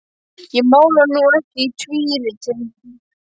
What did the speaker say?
Ég mála nú ekki í tvíriti.